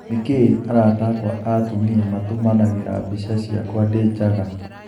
Niki arata akwa aa atumia matũmanagira bica ciakwa ndii njaga.